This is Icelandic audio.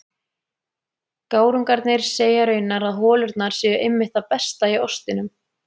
Gárungarnir segja raunar að holurnar séu einmitt það besta í ostinum.